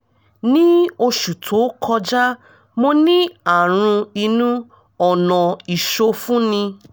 ní oṣù tó kọjá mo ní àrùn inú ọ̀nà ìsọfúnni